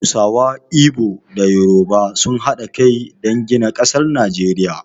Hausawa, Igbo da Yoruba sun haɗa kai dan gina ƙasar Najeriya